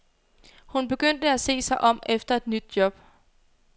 Hun begyndte at se sig om efter et nyt job.